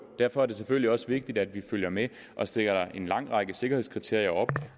derfor er det selvfølgelig også vigtigt at vi følger med og stiller en lang række sikkerhedskriterier op